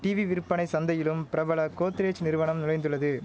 TV விற்பனை சந்தையிலும் பிரபல கோத்ரேஜ் நிறுவனம் நுழைந்துள்ளது